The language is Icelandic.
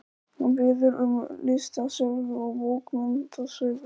Hún biður um listasögu og bókmenntasögu.